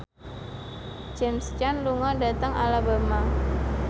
James Caan lunga dhateng Alabama